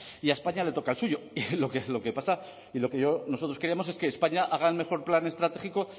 y a españa le toca el suyo lo que pasa y lo que nosotros queríamos es que españa haga el mejor plan estratégico